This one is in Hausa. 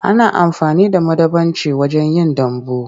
Ana amfani da madambaci wajen yin dambu.